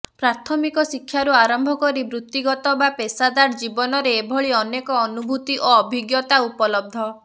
ପ୍ରାଥମିକ ଶିକ୍ଷାରୁ ଆରମ୍ଭ କରି ବୃତ୍ତିଗତ ବା ପେସାଦାର ଜୀବନରେ ଏଭଳି ଅନେକ ଅନୁଭୂତି ଓ ଅଭିଜ୍ଞତା ଉପଲବ୍ଧ